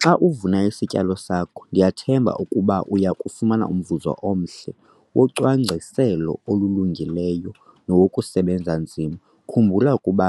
Xa uvuna isityalo sakho, ndiyathemba ukuba uya kufumana umvuzo omhle wocwangciselo olulungileyo nowokusebenza nzima. Khumbula ukuba